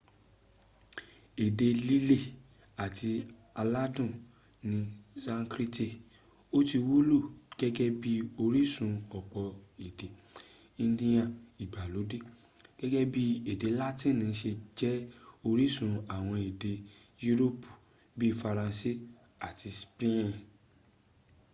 ede lile ati aladun ni sanskriti o ti wulo gege bi orisun opo ede indiya igbalode gege bii ede latini se je orisun awon ede yuropi bii faranse ati speen